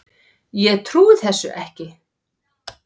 Ég trúi þér ekki.